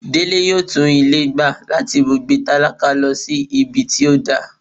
Dele yóò tún ilé gbé latí ibùgbé tálákà lọ sí ibí tí o dà